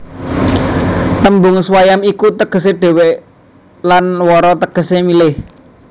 Tembung swayam iku tegesé dhéwé lan vara tegesé milih